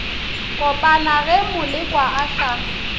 kopana ge molekwa a sa